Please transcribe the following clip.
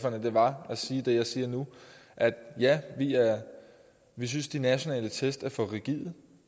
var at sige det jeg siger nu ja vi synes de nationale test er for rigide